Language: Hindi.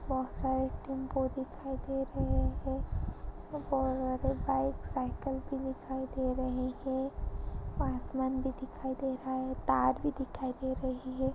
बहुत सारे टैम्पू दिखाई दे रहे हैं और बाईक साईकिल भी दिखाई दे रहे हैं आसमान भी दिखाई दे रहा है तार भी दिखाई दे रही हैं।